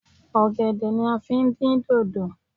Ọ̀gẹ̀dẹ̀ ni a fi ń dín dòdò